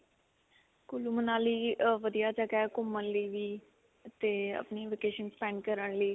ਕੁੱਲੂ, ਮਨਾਲੀ ਅਅ ਵਧੀਆ ਜਗ੍ਹਾ ਹੈ, ਘੁੰਮਣ ਲਈ ਵੀ ਤੇ ਆਪਣੀ vacation spend ਕਰਨ ਲਈ.